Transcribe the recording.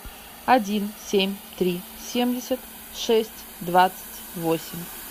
один семь три семьдесят шесть двадцать восемь